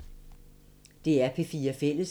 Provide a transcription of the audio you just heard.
DR P4 Fælles